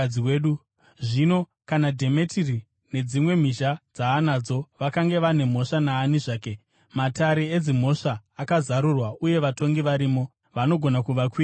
Zvino, kana Dhemetiri nedzimwe mhizha dzaanadzo vakange vane mhosva naani zvake, matare edzimhosva akazarurwa uye vatongi varimo. Vanogona kuvakwirira havo.